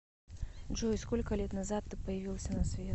джой сколько лет назад ты появился на свет